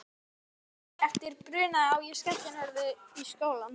Í bítið morguninn eftir brunaði ég á skellinöðrunni í skólann.